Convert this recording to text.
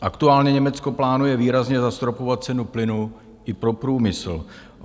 Aktuálně Německo plánuje výrazně zastropovat cenu plynu i pro průmysl.